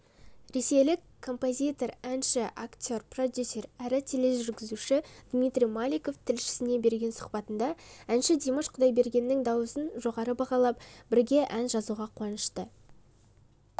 ресейлік композитор әнші актер продюсер әрі тележүргізушідмитрий маликов тілшісіне берген сұхбатында әнші димаш құдайбергеннің даусын жоғары бағалап бірге ән жазуға қуанышты